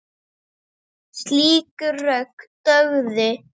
Slík rök dugðu.